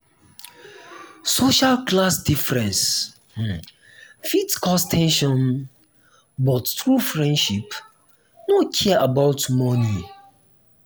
social class difference um fit cause ten sion um but true friendship no care about money.